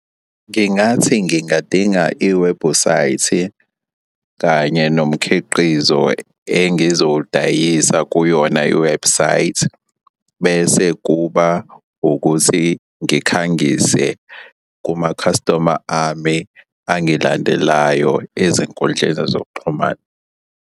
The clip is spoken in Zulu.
Ngingathi ngingadinga iwebhusayithi kanye nomkhiqizo engizowudayisa kuyona iwebhusayithi bese kuba ukuthi ngikhangise kumakhasitoma ami angilandelayo ezinkundleni zokuxhumana.